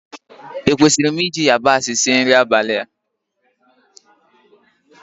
Ekwesịrị m iji yabasị sie nri abalị a?